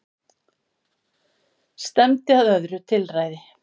Stefndi að öðru tilræði